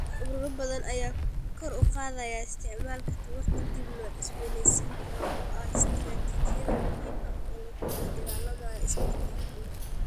Ururo badan ayaa kor u qaadaya isticmaalka tamarta dib loo cusboonaysiin karo oo ah istaraatiijiyad muhiim ah oo lagula dagaalamayo isbedelka cimilada.